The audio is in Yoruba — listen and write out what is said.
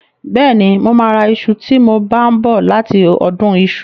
Bẹ́ẹ̀ni, mo máa ra iṣu tí mo bá ń bọ̀ láti ọdún iṣu.